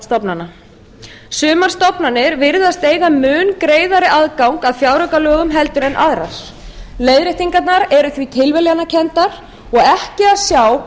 stofnana sumar stofnanir virðast eiga mun greiðari aðgang að fjáraukalögum heldur en aðrar leiðréttingarnar eru því tilviljanakenndar og ekki að sjá að það